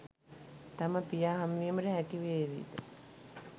තම පියා හමුවිමට හැකිවේවිද?